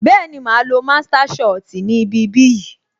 Bẹẹni, máa á lo master shit ni ibi bí yìí